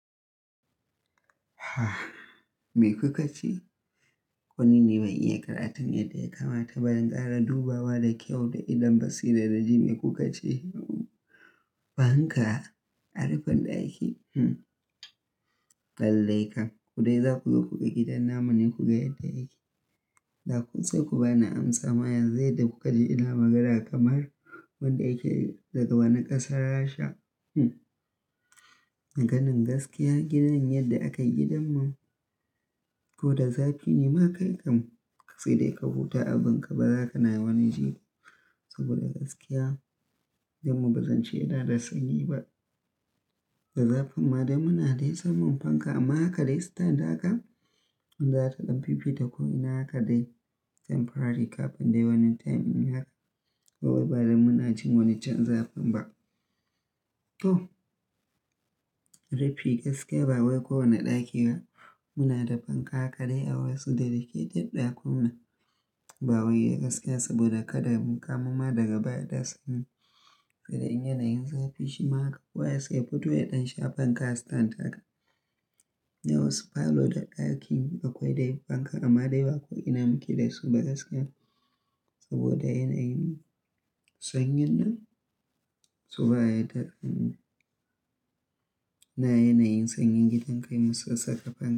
Me kaka ce? Ko nini bai iya karanta miyar da ya kamata bayan gara dubawa da kyau da idon basu yana da jime kuka ce? Fanka? Harufan ɗaki? Lallai kam. Ku dai za ku zo kuka gidan namanin ku ga yadda yake. Da kun tsai ku ba ni amsa ma yanzu da kuka ji ina magana kamar wanda yake daga wani ƙasar Rasha. A ganin gaskiya gidan yadda aka yi gidan mu. Ko da zaci ne ma kai kam ka tsai dai ka huta abin ka bazaka na wani je ba saboda gaskiya, gidanmu ba zan ce yana da sanyi ba. Da zafin ma dai muna dai samun fanka amma haka dai sitan da haka. In za ta ɗan fifita komai haka dai temporary kafin dai wani time in haka. Kowai ba dai muna cin wani can zafin ba. To Rife gaskiya ba wai ko wane ɗaki ba muna da fanka haka dai a wasu da dake ɗan ɗakunan. Ba wai ya gaskiya saboda haka dai mu kamama daga baya da sanyi. Kamar in yana yin zafi shi ma haka. Kowai sai fito ya ɗan sha fanka sitan da haka. Nawas falo da ɗaki akwai dai fanka amma dai ba kuwa ina muke dai su ba gaskiya. Saboda yana yin sanyin nan su ba ya da sanyi. Na yana yin sanyin gidan kai musu saka fan.